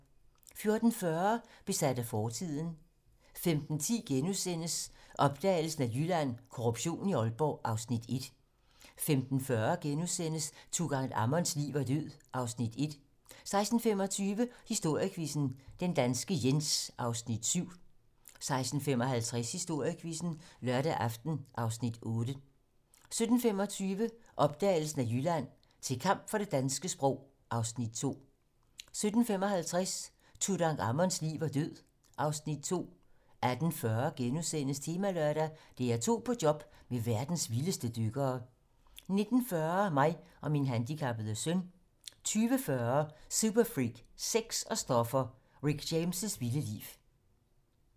14:40: Besat af fortiden 15:10: Opdagelsen af Jylland: Korruption i Aalborg (Afs. 1)* 15:40: Tutankhamons liv og død (Afs. 1)* 16:25: Historiequizzen: Den danske Jens (Afs. 7) 16:55: Historiequizzen: Lørdag aften (Afs. 8) 17:25: Opdagelsen af Jylland: Til kamp for det danske sprog (Afs. 2) 17:55: Tutankhamons liv og død (Afs. 2) 18:40: Temalørdag: DR2 på job med verdens vildeste dykkere * 19:40: Mig og min handikappede søn 20:40: Superfreak, sex og stoffer: Rick James' vilde liv